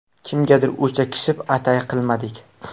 Kimgadir o‘chakishib, atay qilmadik.